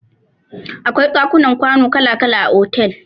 Akwai dakunan kwana kala kala a otel.